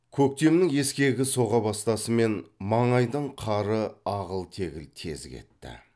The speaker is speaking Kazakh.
көктемнің ескегі соға бастасымен маңайдың қары ағыл тегіл тез кетті